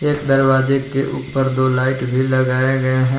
एक दरवाजे के ऊपर दो लाइट भी लगाया गया है।